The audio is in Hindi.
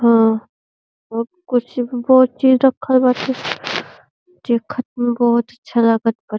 ओ बहोत कुछ बहोत चीज रखल बाटे। देखत में बहोत अच्छा लागत बाट।